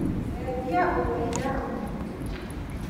cenjia ũtheri ndakinya mũciĩ